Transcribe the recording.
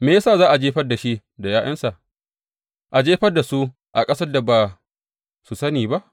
Me ya sa za a jefar da shi da ’ya’yansa a jefar da su a ƙasar da ba su sani ba?